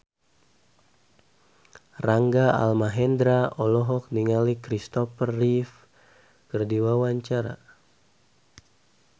Rangga Almahendra olohok ningali Kristopher Reeve keur diwawancara